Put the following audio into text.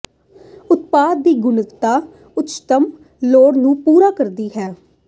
ਉਤਪਾਦ ਦੀ ਗੁਣਵੱਤਾ ਉੱਚਤਮ ਲੋੜਾਂ ਨੂੰ ਪੂਰਾ ਕਰਦੀ ਹੈ